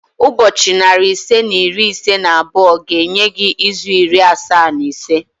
Ụbọchị narị ise na iri ise na abụọ ga-enye gị izu iri asaa na ise